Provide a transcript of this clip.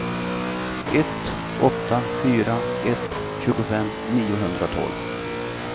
ett åtta fyra ett tjugofem niohundratolv